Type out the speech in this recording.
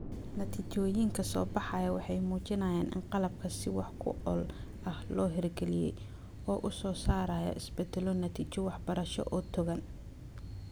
Natiijooyinka soo baxaya waxay muujinayaan in qalabka si wax ku ool ah loo hirgeliyay oo uu soo saarayo isbeddello natiijo waxbarasho oo togan.